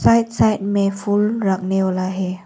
Side side में फूल वाला है।